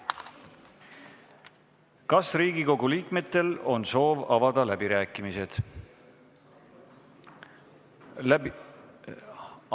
Kas Riigikogu liikmetel on soovi avada läbirääkimisi?